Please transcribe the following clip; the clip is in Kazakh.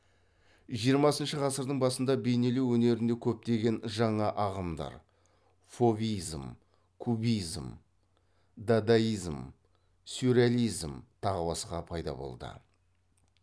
жиырмасыншы ғасырдың басында бейнелеу өнерінде көптеген жаңа ағымдар фовизм кубизм дадаизм сюрреализм тағы басқа пайда болды